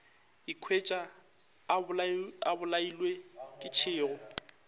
ikhwetša a bolailwe ke tšhego